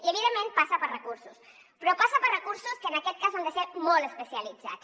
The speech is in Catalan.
i evidentment passa per recursos però passa per recursos que en aquest cas han de ser molt especialitzats